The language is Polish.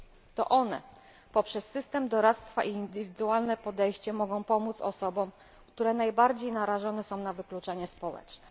To one, poprzez system doradztwa i indywidualne podejście, mogą pomóc osobom najbardziej narażonym na wykluczenie społeczne.